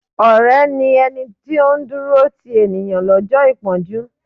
Ọ̀rẹ́ ni ẹni tí ó ń dúró ti ènìyàn lọ́jọ́ ìpọ́njú.